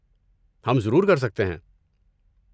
ہم ضرور کر سکتے ہیں۔